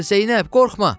Zeynəb, qorxma!